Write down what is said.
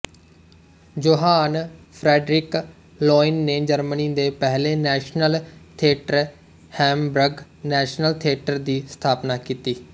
Johan Friedrich Loewen ਨੇ Germany ਦੇ ਪਹਿਲੇ national theatre Hamburg national theatre ਦੀ ਸਥਾਪਨਾ ਕੀਤੀ